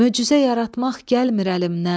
Möcüzə yaratmaq gəlmir əlimdən.